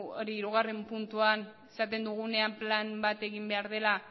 hirugarrena puntuan esaten dugunean plan bat egin behar dela